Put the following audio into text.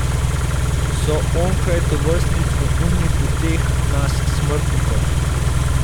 So onkraj tovrstnih neumnih uteh nas smrtnikov.